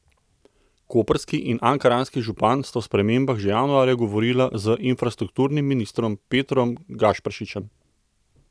Koprski in ankaranski župan sta o spremembah že januarja govorila z infrastrukturnim ministrom Petrom Gašperšičem.